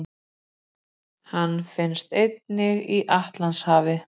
Hann finnst einnig í Atlantshafi.